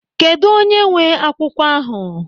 Kedụ onye nwee akwụkwọ ahụ?